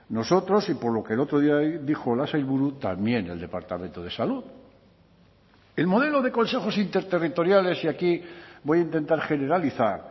nosotros y por lo que el otro día dijo la sailburu también el departamento de salud el modelo de consejos interterritoriales y aquí voy a intentar generalizar